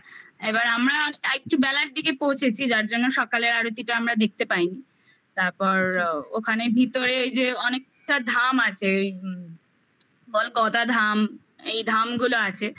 এবার আমরা আরেকটু বেলার দিকে পৌঁছেছি যার জন্য সকালের আরতিটা আমরা দেখতে পাইনি তারপর ওখানে ভিতরে এই যে অনেকটা ধাম আছে ওই বল গদাধাম এই ধাম গুলো আছে